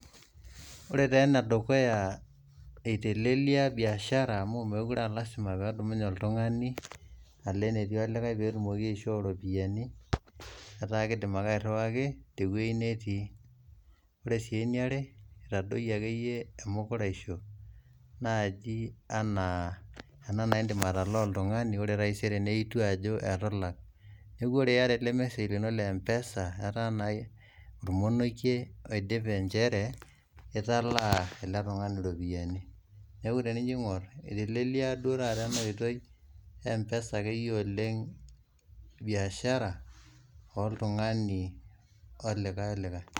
Ore taa enedukuya eitelelia biashara amu mekure aa lasima peedumunye iltungani alo netii likai peetumoki aishoo iropiyiani metaa keidim ake airuwaki te weji netii, ore sii eneare etadoiye ake iye emukuraisho naaji enaa naaindim atalaa oltungani ore pesku taisere nelotu ajo etu ilak, neaku ore ieta ale lmesej lino le mpesa ata naake imoneike aidip inchere italaa ale tungani iropiyiani, neaku tenijo aing'orr etelilia duo ake iye taata ena oitoi empesa ake duo iye oleng biashara oltungani oo likae olikae.